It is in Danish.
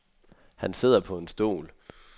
Han sidder på en stol.